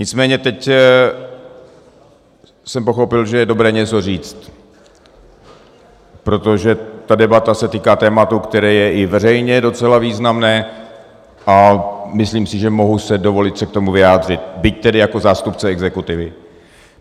Nicméně teď jsem pochopil, že je dobré něco říct, protože ta debata se týká tématu, které je i veřejně docela významné, a myslím si, že si mohu dovolit se k tomu vyjádřit, byť tedy jako zástupce exekutivy.